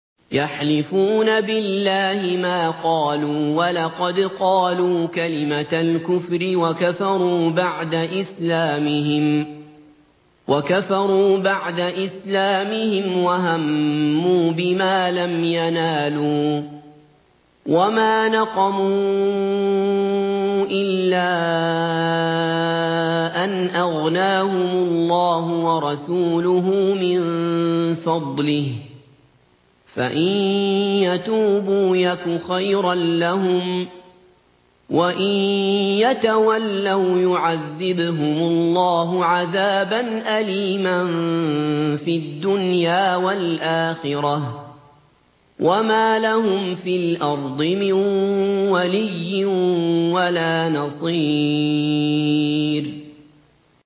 يَحْلِفُونَ بِاللَّهِ مَا قَالُوا وَلَقَدْ قَالُوا كَلِمَةَ الْكُفْرِ وَكَفَرُوا بَعْدَ إِسْلَامِهِمْ وَهَمُّوا بِمَا لَمْ يَنَالُوا ۚ وَمَا نَقَمُوا إِلَّا أَنْ أَغْنَاهُمُ اللَّهُ وَرَسُولُهُ مِن فَضْلِهِ ۚ فَإِن يَتُوبُوا يَكُ خَيْرًا لَّهُمْ ۖ وَإِن يَتَوَلَّوْا يُعَذِّبْهُمُ اللَّهُ عَذَابًا أَلِيمًا فِي الدُّنْيَا وَالْآخِرَةِ ۚ وَمَا لَهُمْ فِي الْأَرْضِ مِن وَلِيٍّ وَلَا نَصِيرٍ